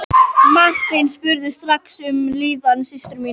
Marteinn spurði strax um líðan systur sinnar.